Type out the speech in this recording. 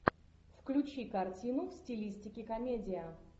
включи картину в стилистике комедия